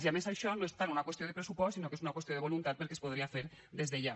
i a més això no és tant una qüestió de pressupost sinó que és una qüestió de voluntat perquè es podria fer des de ja